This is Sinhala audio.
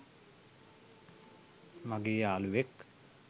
මගේ යාලුවෙක්.